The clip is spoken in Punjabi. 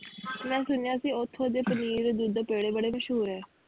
ਮੈਂ ਸੁਣਿਆ ਸੀ ਓਥੋਂ ਦੇ ਪਨੀਰ, ਦੁੱਧ, ਪੇੜੇ ਬੜੇ ਮਸ਼ਹੂਰ ਆ?